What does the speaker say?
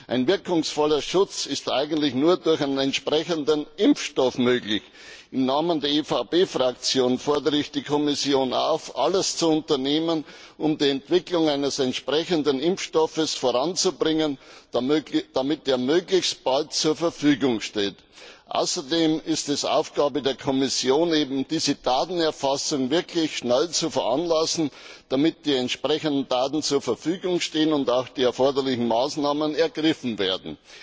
Ein wirkungsvoller Schutz ist eigentlich nur durch einen entsprechenden Impfstoff möglich. Im Namen der EVP Fraktion fordere ich die Kommission auf, alles zu unternehmen, um die Entwicklung eines entsprechenden Impfstoffes voranzubringen, damit er möglichst bald zur Verfügung steht. Außerdem ist es Aufgabe der Kommission, eben diese Datenerfassung wirklich schnell zu veranlassen, damit die entsprechenden Daten zur Verfügung stehen und auch die erforderlichen Maßnahmen ergriffen werden.